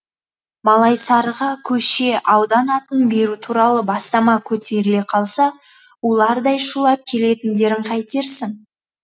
малайсарыға көше аудан атын беру туралы бастама көтеріле қалса улардай шулап келетіндерін қайтерсің